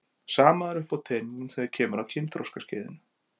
Sama er uppi á teningnum þegar kemur að kynþroskaskeiðinu.